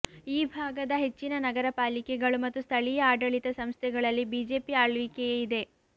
ಈ ಭಾಗದ ಹೆಚ್ಚಿನ ನಗರಪಾಲಿಕೆಗಳು ಮತ್ತು ಸ್ಥಳೀಯ ಆಡಳಿತ ಸಂಸ್ಥೆಗಳಲ್ಲಿ ಬಿಜೆಪಿ ಆಳ್ವಿಕೆಯೇ ಇದೆ